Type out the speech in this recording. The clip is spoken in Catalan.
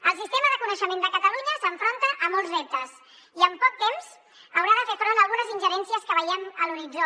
el sistema de coneixement de catalunya s’enfronta a molts reptes i en poc temps haurà de fer front a algunes ingerències que veiem a l’horitzó